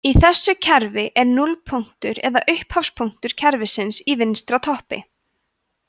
í þessu kerfi er núllpunktur eða upphafspunktur kerfisins í vinstra toppi